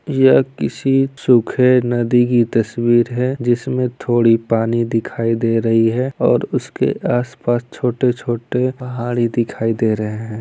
यह किसी सूखे नदी की तस्वीर है जिसमें थोड़ी पानी दिखाई दे रही है और उसके आस-पास छोटे-छोटे पहाड़ी दिखाई दे रहे है।